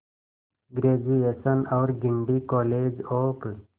graduation और Guindy college of